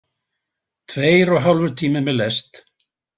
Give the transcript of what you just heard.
Tveir og hálfur tími með lest.